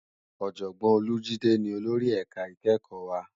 Òjògbòn Olajide ni ólóri èká ikèékò wá